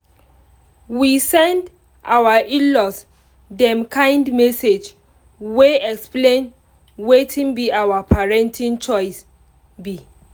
we send our in-laws dem kind message wey explain wetin be our parenting choice be